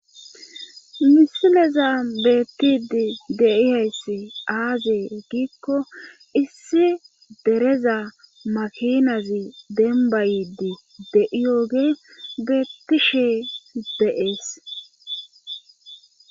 misileza beettidi deihayssi aazee giikko issi dereza makinazi dembayidi de7iyoge beettishee de7ees